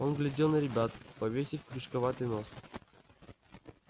он глядел на ребят повесив крючковатый нос